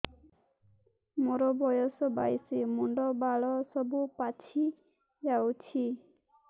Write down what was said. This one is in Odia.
ମୋର ବୟସ ବାଇଶି ମୁଣ୍ଡ ବାଳ ସବୁ ପାଛି ଯାଉଛି